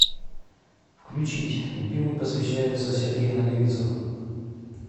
включить любимой посвящается сергея наговицына